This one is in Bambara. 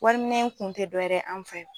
Wari ɛminɛw kun te dɔwɛrɛ ye an fɛ